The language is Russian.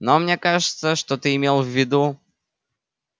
но мне кажется что ты имел в виду